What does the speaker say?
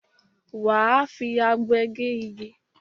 Wà á fi abe gé igi.